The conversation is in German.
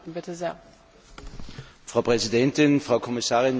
Frau Präsidentin, Frau Kommissarin, meine sehr geehrten Damen und Herren!